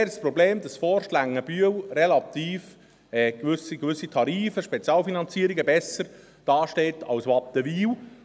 Zudem ist dort das Problem, dass Forst-Längenbühl bezüglich gewisser Tarife und Spezialfinanzierungen, besser dasteht als Wattenwil.